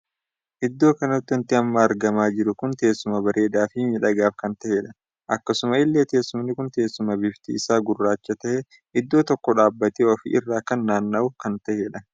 Iddoo kanatti wanti amma argamaa jiru kun teessuama bareedaa fi miidhagaaf kan tahedha. akkasuma illee teessumni kun teessuma bifti isaa gurraacha tahee iddoo tokkoo dhaabbatee ofi irraa kan naanna'u kan tahedha.